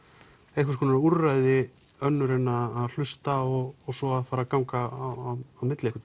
einhvers konar úrræði önnur en að hlusta og svo að fara að ganga á milli einhvern